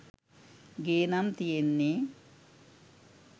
ගේ නම් තියෙන්නේ